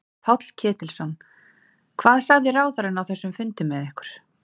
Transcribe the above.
Páll Ketilsson: Hvað sagði ráðherrann á þessum fundi með ykkur?